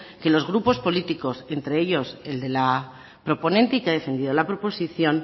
que los grupos políticos entre ellos el de la proponente y que ha defendido la proposición